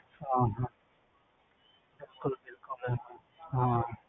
ਹਾਂ ਹਾਂ